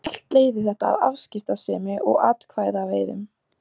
Allt leiðir þetta af afskiptasemi og atkvæðaveiðum.